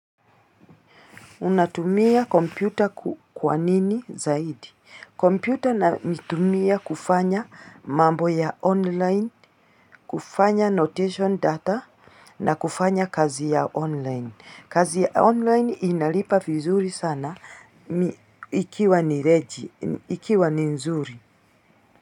Unatumia kompyuta kwa nini zaidi? Kompyuta naitumia kufanya mambo ya online, kufanya annotation data na kufanya kazi ya online. Kazi ya online inalipa vizuri sana ikiwa nireji, ikiwa ninzuri.